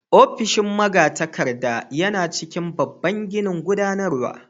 Ofishin magatakarda yana cikin babban ginin gudanarwa.